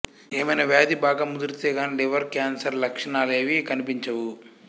ఏమైనా వ్యాధి బాగా ముదిరితే గానీ లివర్ కేన్సర్ లక్ష ణాలేవీ కనిపించవు